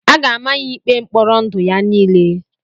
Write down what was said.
A ga-ama ya ya ikpe mkpọrọ ndụ ya niile.